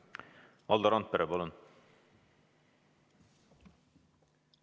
Valdo Randpere, palun!